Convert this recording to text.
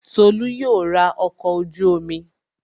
Tolú yóò ra ọkọ̀ ojú-omi